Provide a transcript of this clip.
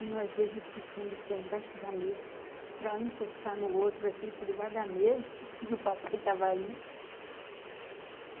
E nós dois esticando o pé embaixo da mesa, para o encostar no outro, assim, por baixo da mesa, porque o papai estava ali.